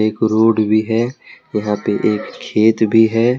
एक रोड भी है यहां पे एक खेत भी है।